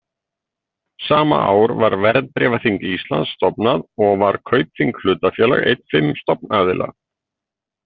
Sama ár var Verðbréfaþing Íslands stofnað og var Kaupþing hlutafélag einn fimm stofnaðila.